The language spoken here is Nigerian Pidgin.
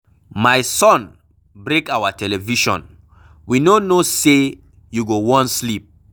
My son break our television, we no know say you go wan sleep.